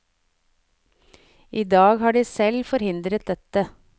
I dag har de selv forhindret dette.